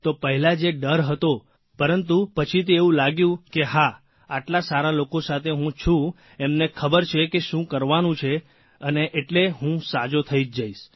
તો પહેલા જે ડર હતો પરંતુ પછીથી એવું લાગ્યું કે હા આટલા સારા લોકો સાથે છું એમને ખબર છે કે શું કરવાનું છે અને એટલે હું સાજો થઇ જઇશ